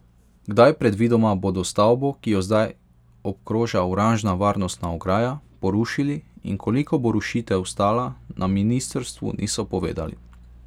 Kdaj predvidoma bodo stavbo, ki jo zdaj obkroža oranžna varnostna ograja, porušili in koliko bo rušitev stala, na ministrstvu niso povedali.